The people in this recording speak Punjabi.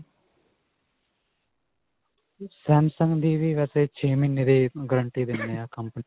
samsung ਦੀ ਵੀ ਵੈਸੇ ਛੇ ਮਹੀਨੇ ਦੀ guarantee ਦਿੰਨੇ ਹਾਂ ਕੰਪਨੀ.